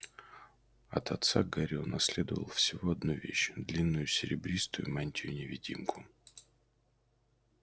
от отца гарри унаследовал всего одну вещь длинную серебристую мантию-невидимку